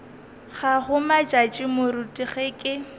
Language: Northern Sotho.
gago matšatši moruti ge ke